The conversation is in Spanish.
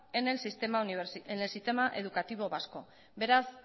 en el sistema educativo vasco beraz